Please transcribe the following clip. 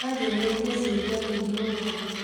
Nĩanjũrĩtie ciũria nyingĩ ũmũthĩ